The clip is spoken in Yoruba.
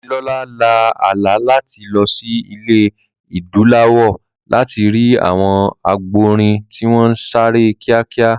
Dámilọ́lá lá àlá láti lọ sí ilẹ̀ Adúláwọ̀ láti rí àwọn àgbọ̀nrìn tí wọ́n ń sáré kíákíá